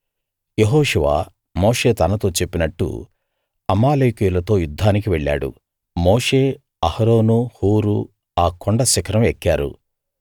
యెహోషువ మోషే తనతో చెప్పినట్టు అమాలేకీయులతో యుద్ధానికి వెళ్ళాడు మోషే అహరోను హూరు ఆ కొండ శిఖరం ఎక్కారు